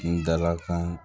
N dalakan